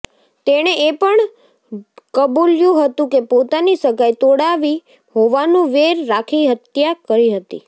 તેણે એ પણ કબુલ્યું હતું કે પોતાની સગાઈ તોડાવી હોવાનું વેર રાખી હત્યા કરી હતી